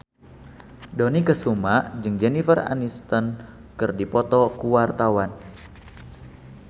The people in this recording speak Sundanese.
Dony Kesuma jeung Jennifer Aniston keur dipoto ku wartawan